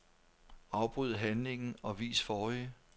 Afbryd handlingen og vis forrige.